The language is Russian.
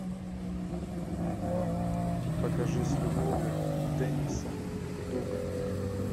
покажи с любовью денниса дугана